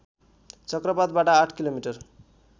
चक्रपथबाट आठ किलोमिटर